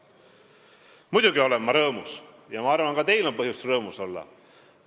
Muidugi olen ma rõõmus ja ma arvan, et ka teil on põhjust rõõmus olla.